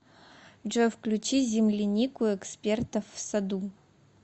джой включи землянику экспертов в саду